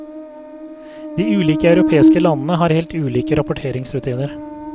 De ulike europeiske landene har helt ulike rapporteringsrutiner.